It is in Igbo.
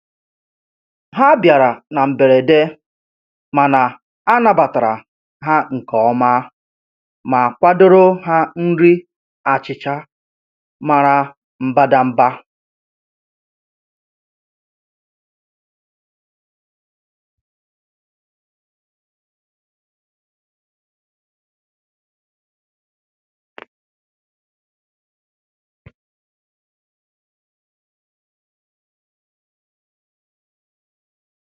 Ha bịara na mberede, mana anabatara ha nke ọma ma kwadoro ha nri achịcha mara mbadamba.